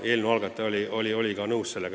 Eelnõu algataja oli sellega nõus.